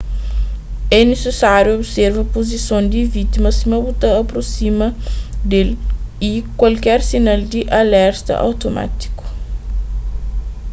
é nisisáriu observa puzison di vítima sima bu ta aprosima di-l y kualker sinal di alerta automátiku